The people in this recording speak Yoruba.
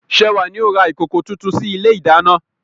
Sewa ni ó ra ìkòkò tuntun sí ilé ìdáná.